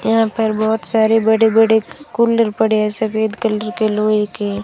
यहां पर बहुत सारे बड़े बड़े कूलर पड़े हैं सफेद कलर के लोहे के।